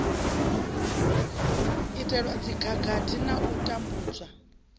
itelwa dzikhakhathi na u tambudzwa